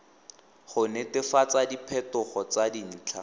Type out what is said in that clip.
go netefatsa diphetogo tsa dintlha